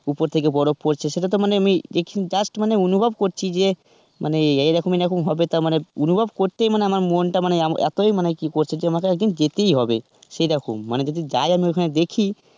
ওপর থেকে বরফ পড়ছে সেটা তো মানে আমি just আমি অনুভব করছি যে মানে এই এই রকম হবে তার মানে অনুভব করতেই মানে আমার মনটা মানে এতোই মানে কি করছে আমাকে একদিন যেতেই হবে, সেরকম মানে যদি যাই আমি ওখানে দেখি,